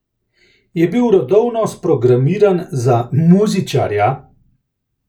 Je bil rodovno sprogramiran za muzičarja?